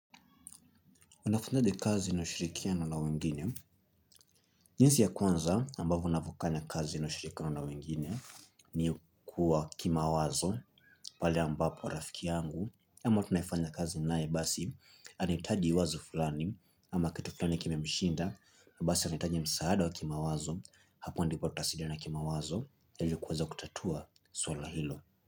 Unafanyaje kazi na ushirikiano na wengine. Jinsi ya kwanza ambavyo unavofanya kazi na ushirikiano na wengine ni kuwa kimawazo pale ambapo rafiki yangu ama tunayefanya kazi naye basi anahitaji wazo fulani ama kitu fulani kimemshinda na basi anahitaji msaada wa kimawazo hapo ndipo tutasaidiana kimawazo ili kuweza kutatua swala hilo.